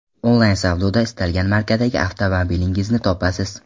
Onlayn savdoda istalgan markadagi avtomobilingizni topasiz.